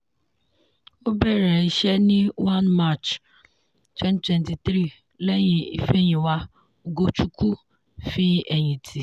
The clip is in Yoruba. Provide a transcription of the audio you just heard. ó bẹ̀rẹ̀ iṣẹ́ ní 1 mar 2023 lẹ́yìn ifeyinwa ugochukwu fi ẹ̀yìn tì.